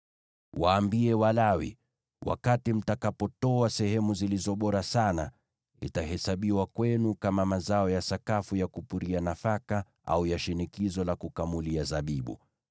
“Waambie Walawi: ‘Mtakapotoa sehemu zilizo bora sana, itahesabiwa kwenu kama mazao ya sakafu ya kupuria nafaka, au ya shinikizo la kukamulia zabibu.